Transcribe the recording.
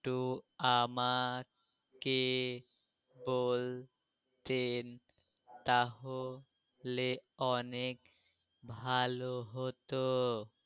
একটু আমাকে বলতেন তাহলে অনেক ভালো হতো.